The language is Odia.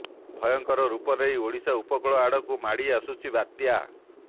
ଭୟଙ୍କର ରୂପ ନେଇ ଓଡ଼ିଶା ଉପକୂଳ ଆଡ଼କୁ ମାଡ଼ି ଆସୁଛି ବାତ୍ୟା